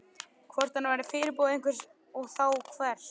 Hvort hann væri fyrirboði einhvers og þá hvers?